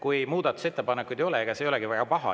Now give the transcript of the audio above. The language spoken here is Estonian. Kui muudatusettepanekuid ei ole, siis ei olegi see väga paha.